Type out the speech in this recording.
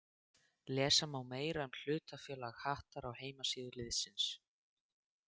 Lesa má meira um hlutafélag Hattar á heimasíðu liðsins.